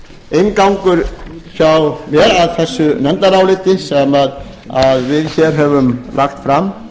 inngangur hjá mér að þessu nefndaráliti sem við höfum lagt fram